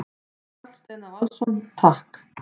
Karl Steinar Valsson: Takk.